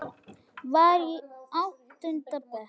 Var í áttunda bekk.